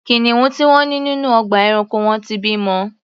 Kìnìún tí wọ́n ní nínú ọgbà ẹranko wọn ti bimọ.